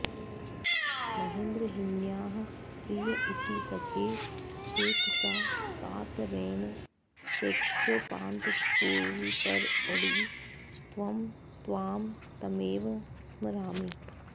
मद्गेहिन्याः प्रिय इति सखे चेतसा कातरेण प्रेक्ष्योपान्तस्फुरिततडितं त्वां तमेव स्मरामि